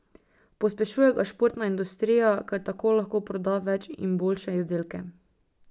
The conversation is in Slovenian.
Pospešuje ga športna industrija, ker tako lahko proda več in boljše izdelke.